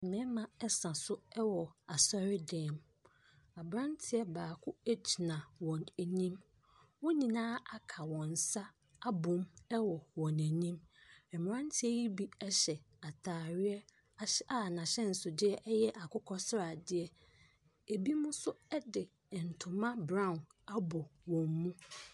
Mmɛɛma ɛsa so ɛwɔ asɔre dan mu, aberanteɛ baako egyina wɔn anim. Wɔnyinaa aka wɔn nsa abɔ mu ɛwɔ wɔn anim. Ɛmmeranteɛ yi bi ɛhyɛ ataareɛ a n'ahyɛnsodeɛ ɛyɛ akokɔ sradeɛ. Ebimo so ɛde ɛntoma braon abɔ wɔn mu.